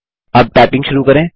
अब टाइपिंग शुरू करें